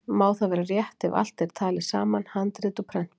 Má það vera rétt ef allt er talið saman, handrit og prentbækur.